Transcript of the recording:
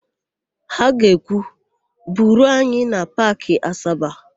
Ha ga-ekwu, "buruo anyị na Paakị Asaba"!